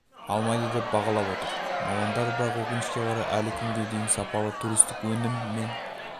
алмайды деп бағалап отыр мамандар бірақ өкінішке қарай әлі күнге дейін сапалы туристік өнім мен